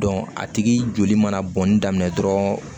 a tigi joli mana bɔnni daminɛ dɔrɔn